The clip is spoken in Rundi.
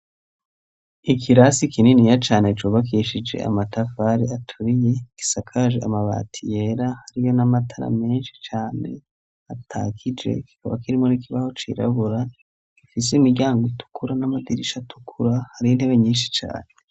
Ikirasi kininiya cane cubakishije amatafari aturiye, gisakaje amabati yera hariyo n'amatara menshi cane atakije kikaba kirimo n'ikibaho cirabura gifise imiryango itukura n'amadirisha atukura, hari intebe nyinshi cane.